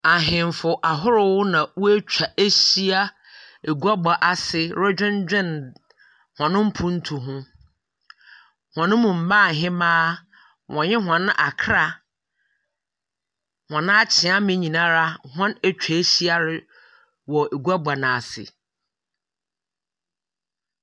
Ahenfo ahorow na watwa ahyia adwabɔ ase na ɔredwendwen wɔn mpuntuo hɔ. Wɔn mu mmaa hemaa ne wɔn manfoɔ ne wɔn akyeame nyinaa wa atwa ahyia wɔ adwabɔ no ase.